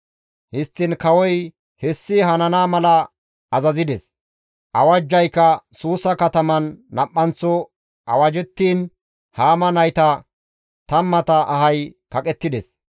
Histtiin kawozi hessi hanana mala azazides; awajjayka Suusa kataman nam7anththo awajettin Haama nayta tammata ahay kaqettides.